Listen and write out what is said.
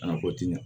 A na ko ti ɲɛ